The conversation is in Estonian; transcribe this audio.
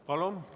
Palun!